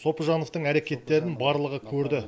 сопыжановтың әрекеттерін барлығы көрді